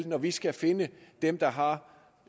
når vi skal finde dem der har